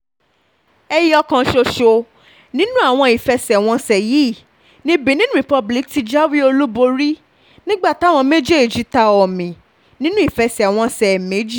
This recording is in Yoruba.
ẹ̀yọkàn ṣoṣo nínú àwọn ìfẹsẹ̀wọnsẹ̀ yìí ni benin republic ti ti jáwé olúborí nígbà táwọn méjèèjì ta omi nínú ìfẹsẹ̀wọnsẹ̀ méjì